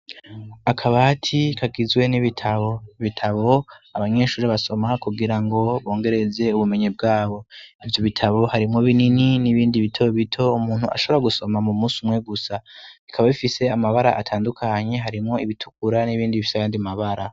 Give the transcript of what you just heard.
Akabati kagizwe n'ibitabo bitabo abanyeshuri basoma kugira ngo bongereze ubumenyi bwabo ivyo bitabo harimwo binini n'ibindi bitabo bito umuntu ashobora gusoma mu musi umwe gusa bikaba bifise amabara atandukanyi harimwo ibitukura n'ibindi bifyayandimabara.